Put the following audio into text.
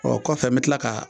Ɔ kɔfɛ n be kila ka